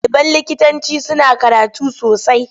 Ɗaliban likitanci suna karatu sosai.